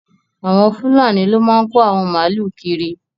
Awọn Fùlànì ló máa n kò awọn máàlú kírì